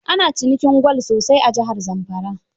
Ana cinikin gwal sosai a jihar Zamfara.